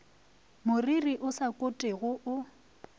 moriri o sa kotwego o